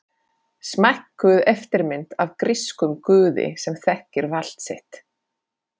Smækkuð eftirmynd af grískum guði sem þekkir vald sitt.